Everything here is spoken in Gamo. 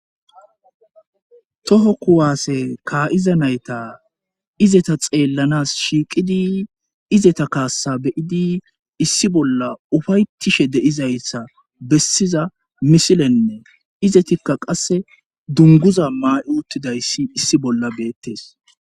toho kuwaase kaa7iza nayta izeta xeellanas shiiqidi izeta kaassa beyidi issi bolla ufaytishe de7izayssa bessiza misilenne izetikka qasse dunguza maa7 uttidayssi issi bolla beettes